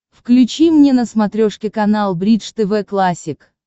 включи мне на смотрешке канал бридж тв классик